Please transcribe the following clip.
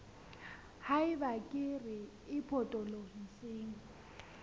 ha eba kere e potolohisang